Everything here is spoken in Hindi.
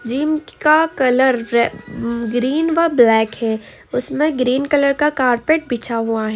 जिम का कलर रे- ग्रीन व ब्लैक है उसमे ग्रीन कलर का कार्पेट बिछा हुआ है।